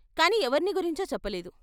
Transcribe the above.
కాని ఎవర్ని గురించో చెప్పలేదు.